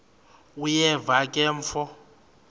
uyeva ke mfo